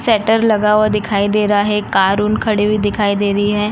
Shutter लगा हुआ दिखाई दे रहा है। कार उन खड़ी हुई दिखाई दे रही है।